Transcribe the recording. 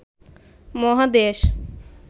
মহাদেশ